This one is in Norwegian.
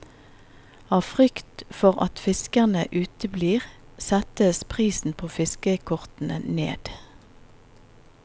Av frykt for at fiskerne uteblir, settes prisen på fiskekortene ned.